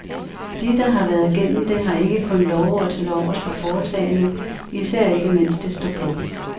De, der har været gennem det, har ikke kun lovord til overs for foretagendet, især ikke mens det står på.